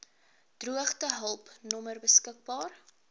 droogtehulp nommer beskik